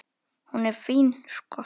Hún er fín, sko.